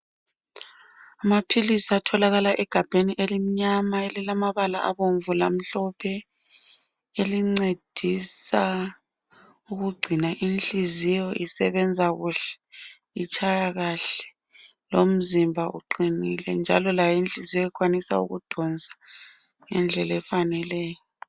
Amaphilisi atholakala egabheni elimnyama elilamabala abomvu lamhlophe elincedisa ukugcina inhliziyo isebenza kuhle itshaya kahle lomzimba uqinile njalo layo inhliziyo ikwanisa ukudonsa ngendlela efaneleyo